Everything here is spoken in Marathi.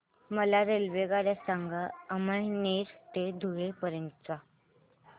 मला रेल्वेगाड्या सांगा अमळनेर ते धुळे पर्यंतच्या